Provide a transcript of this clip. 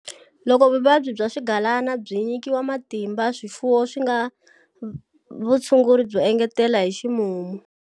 Loko vuvabyi bya swigalana byi tinyika matimba, swifuwo swi nga vutshunguri byo engetela hi ximumu.